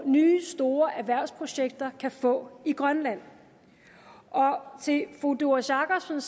nye store erhvervsprojekter kan få i grønland og til fru doris jakobsen